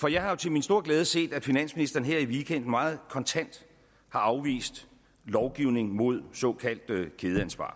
for jeg har jo til min store glæde set at finansministeren her i weekenden meget kontant har afvist lovgivning mod såkaldt kædeansvar